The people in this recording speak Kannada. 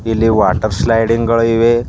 ಇಲ್ಲಿ ವಾಟರ್ ಸ್ಲೈಡಿಂಗ್ ಗಳು ಇವೆ.